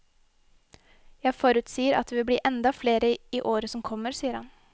Jeg forutsier at det vil bli enda flere i året som kommer, sier han.